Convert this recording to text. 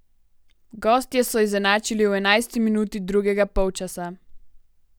Gostje so izenačili v enajsti minuti drugega polčasa.